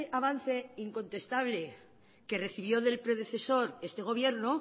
avance incontestable que recibió del predecesor este gobierno